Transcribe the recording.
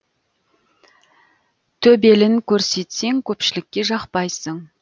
төбелін көрсетсең көпшілікке жақпайсың